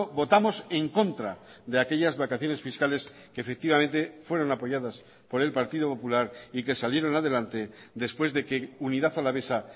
votamos en contra de aquellas vacaciones fiscales que efectivamente fueron apoyadas por el partido popular y que salieron adelante después de que unidad alavesa